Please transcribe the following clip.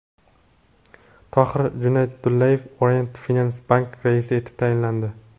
Tohir Junaydullayev Orient Finans Bank raisi etib tayinlandi.